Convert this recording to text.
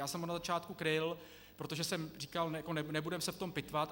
Já jsem ho na začátku kryl, protože jsem říkal nebudeme se v tom pitvat.